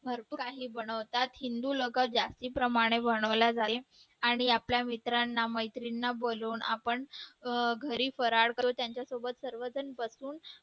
भरपूर काही बनवतात हिंदू लोकांत जास्तीप्रमाणे बनवल्या जाते आणि आपल्या मित्रांना मैत्रिणींना बोलवून आपण घरी फराळ करू त्यांच्यासोबत सर्वजण बसू